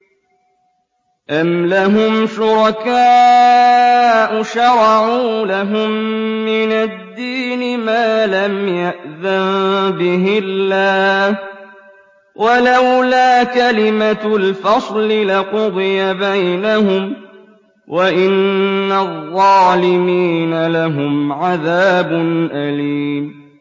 أَمْ لَهُمْ شُرَكَاءُ شَرَعُوا لَهُم مِّنَ الدِّينِ مَا لَمْ يَأْذَن بِهِ اللَّهُ ۚ وَلَوْلَا كَلِمَةُ الْفَصْلِ لَقُضِيَ بَيْنَهُمْ ۗ وَإِنَّ الظَّالِمِينَ لَهُمْ عَذَابٌ أَلِيمٌ